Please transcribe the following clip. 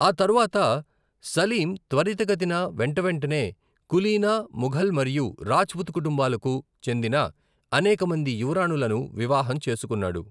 ఆ తర్వాత, సలీం త్వరితగతిన వెంటవెంటనే, కులీన ముఘల్ మరియు రాజ్పుత్ కుటుంబాలకు చెందిన అనేక మంది యువరాణులను వివాహం చేసుకున్నాడు.